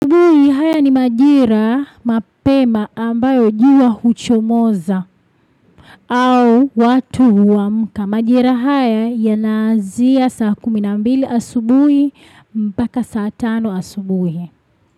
Haya ni majira mapema ambayo jua huchomoza au watu huamka majira haya yanaanzia saa kumi na mbili asubui mpaka saa tano asubuhi.